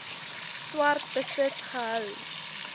swart besit gehou